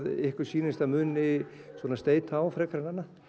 ykkur sýnist að muni steyta á frekar en annað